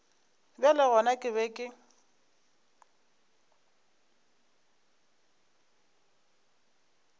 bjale gona ke be ke